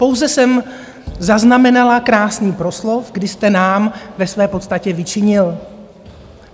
Pouze jsem zaznamenala krásný proslov, kdy jste nám ve své podstatě vyčinil.